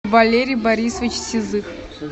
валерий борисович сизых